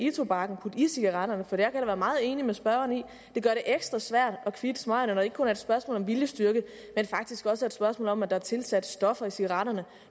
tobakken putte i cigaretterne for jeg kan da være meget enig med spørgeren i at det gør det ekstra svært at kvitte smøgerne når det ikke kun er et spørgsmål om viljestyrke men faktisk også er et spørgsmål om at der er tilsat stoffer i cigaretterne